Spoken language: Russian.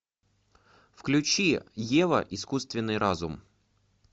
включи ева искусственный разум